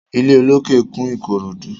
Ilé olókè kún Ìkòròdú.